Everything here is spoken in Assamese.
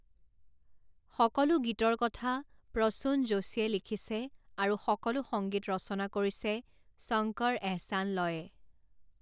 সকলো গীতৰ কথা প্ৰসূণ যোশীয়ে লিখিছে আৰু সকলো সংগীত ৰচনা কৰিছে শংকৰ এহছান লয়ে।